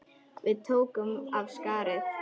Við tókum af skarið.